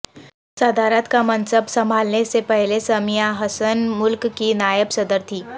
صدارت کا منصب سنبھالنے سے پہلے سمیعہ حسن ملک کی نائب صدر تھیں